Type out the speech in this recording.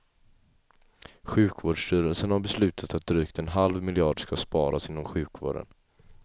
Sjukvårdsstyrelsen har beslutat att drygt en halv miljard skall sparas inom sjukvården.